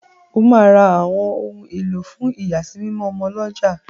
O ma rà ọwọn òun elo fún iyasimimo ọmọ l'ọja